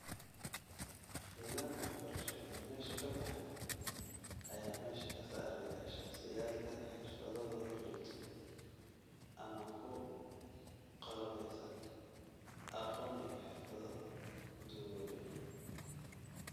Nidaamkii waxbarsho ee meesha ka baxay ayaa meesha ka saaraya shaqsiyaadka xirfadahoodu liidato, ama ku qalabaysan aqoon iyo xirfado duugoobay.